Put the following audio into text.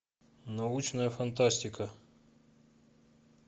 научная фантастика